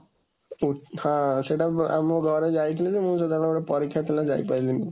ହଁ, ସେଇଟା ଆମ ଘରେ ଯାଇଥିଲେ ଯେ, ମୁଁ ସେତେବେଳେ ଗୋଟେ ପରୀକ୍ଷା ଥିଲା ଯାଇପାରିଲିନି।